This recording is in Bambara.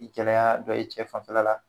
i gɛlɛya dɔ ye cɛ fanfɛla la.